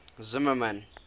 zimmermann